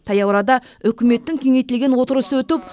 таяу арада үкіметтің кеңейтілген отырысы өтіп